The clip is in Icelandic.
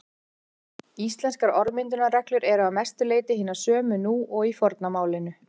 Íslenskar orðmyndunarreglur eru að mestu leyti hinar sömu nú og í forna málinu.